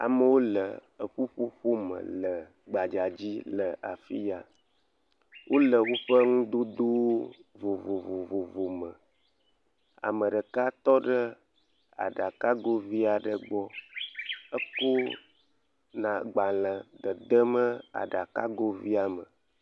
Amewo le ƒuƒoƒo me le gbadza dzi le afia. Wole woƒe nudodo vovovo me. Ame ɖeka tɔ ɖe aɖakago vi aɖe gbɔ. Eko agbalẽ la agbalẽ dedem aɖakago via me.